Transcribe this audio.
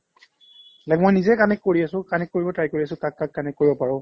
like মই নিজে connect কৰি আছো connect কৰিব try কৰি আছো কাক কাক connect কৰিব পাৰো